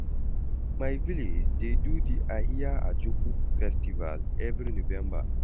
My village dey do di Ahia Ajoku festival every November.